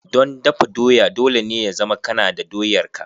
Don dafa doya, dole ne ya zama kana da doyar ka.